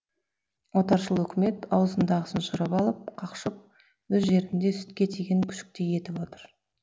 отаршыл үкімет аузындағысын жырып алып қақшып өз жерінде сүтке тиген күшіктей етіп отыр